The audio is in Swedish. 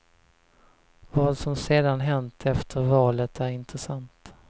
Vad som sedan hänt efter valet är intressant.